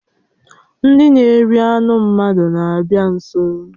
Ndị na-eri anụ mmadụ na-abịa nso